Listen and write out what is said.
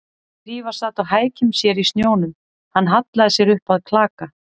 Drífa sat á hækjum sér í snjónum, hann hallaði sér upp að klaka